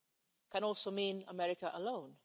It can also mean America alone.